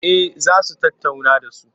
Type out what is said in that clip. Eh za su tattauna da su.